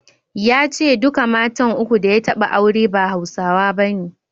Ya ce duka matan uku da ya taɓa aure ba Hausawa bane.